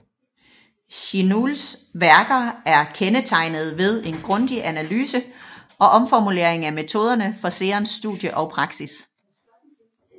Jinuls værker er kendetegnede ved en grundig analyse og omformulering af metoderne for Seons studie og praksis